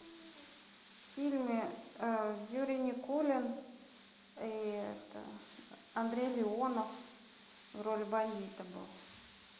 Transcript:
в фильме юрий никулин и это андрей леонов в роли бандита был